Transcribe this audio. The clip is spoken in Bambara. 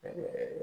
Ɛɛ